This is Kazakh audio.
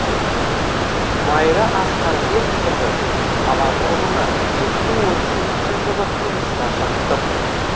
майра асқарбекқызы қала тұрғыны екі мың он сегізінші жылы тұрмысқа шықтым